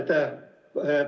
Aitäh!